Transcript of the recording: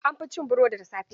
An fi cin burodi da safe.